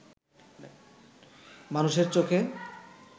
মানুষের চোখে